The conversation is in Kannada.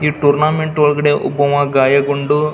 ಈ ಟೂರ್ನ್ಮೆಂಟ್ ಒಳಗಡೆ ಒಬ್ಬವ ಗಾಯಗೊಂಡು.